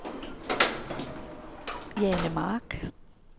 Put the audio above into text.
Jane Mark